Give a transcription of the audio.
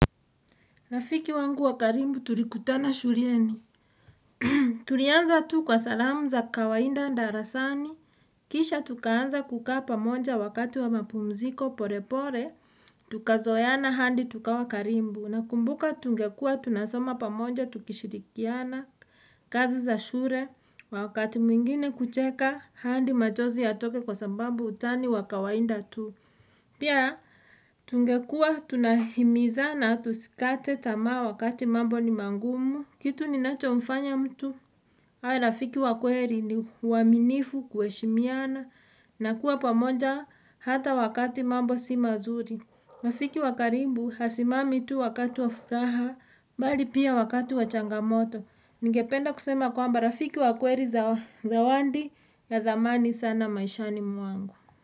Rafiki wangu wa karibu tulikutana shuleni. Tulianza tu kwa salamu za kawaida darasani. Kisha tukaanza kukaa pamoja wakati wa mapumziko pole pole. Tukazoeana hadi tukawa karibu. Nakumbuka tungekuwa tunasoma pamoja tukishirikiana kazi za shule. Wakati mwingine kucheka hadi machozi yatoke kwa sababu utani wa kawaida tu. Pia tungekuwa tunahimizana tusikate tamaa wakati mambo ni magumu. Kitu ninachomfanya mtu. Awe rafiki wa kweli ni uaminifu kuheshimiana na kuwa pamoja hata wakati mambo si mazuri. Rafiki wa karibu hasimami tu wakati wa furaha bali pia wakati wa changamoto. Ningependa kusema kwamba rafiki wa kweli zawadi ya thamani sana maishani mwangu.